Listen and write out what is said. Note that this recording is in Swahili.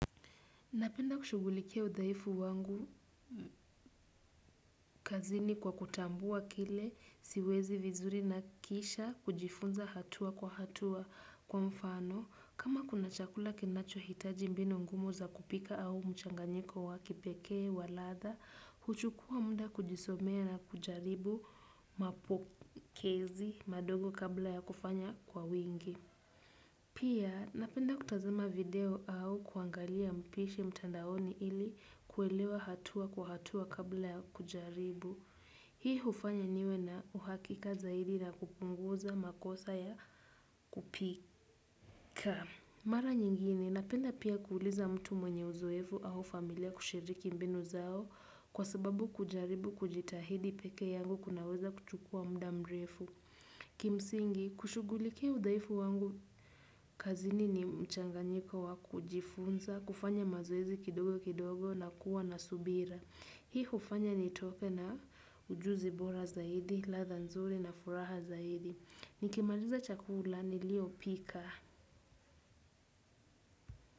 Napenda kushughulikia udhaifu wangu kazini kwa kutambua kile siwezi vizuri na kisha kujifunza hatua kwa hatua kwa mfano. Kama kuna chakula kinacho hitaji mbinu ngumu za kupika au mchanganyiko wakipekee wa ladha, huchukua muda kujisomea na kujaribu mapokezi madogo kabla ya kufanya kwa wingi. Pia napenda kutazima video au kuangalia mpishi mtandaoni ili kuelewa hatua kwa hatua kabla ya kujaribu. Hii hufanya niwe na uhakika zaidi na kupunguza makosa ya kupika. Mara nyingine napenda pia kuuliza mtu mwenye uzoefu au familia kushiriki mbinu zao kwa sababu kujaribu kujitahidi peke yangu kunaweza kuchukua muda mrefu. Kimsingi, kushughulikia udhaifu wangu, kazini ni mchanganyiko wa kujifunza, kufanya mazoezi kidogo kidogo na kuwa na subira. Hii hufanya nitoke na ujuzi bora zaidi, ladha nzuri na furaha zaidi. Nikimaliza chakula niliyopika.